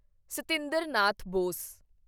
Satinder Nath Bose